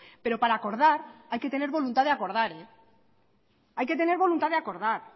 pero para acordar hay que tener voluntad de acordar